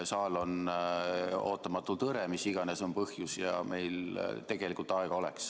Saal on ootamatult hõre, mis iganes on põhjus, ja aega meil tegelikult oleks.